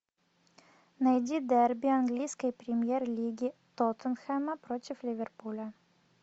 найди дерби английской премьер лиги тоттенхэма против ливерпуля